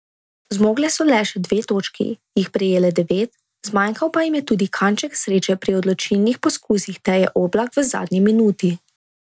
Zmogle so le še dve točki, jih prejele devet, zmanjkal pa jim je tudi kanček sreče pri odločilnih poskusih Teje Oblak v zadnji minuti.